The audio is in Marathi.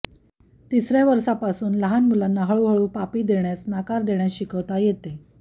तिसऱ्या वर्षांपासून त्या मुलांना हळूहळू पापी देण्यास नकार देण्यास शिकवता येते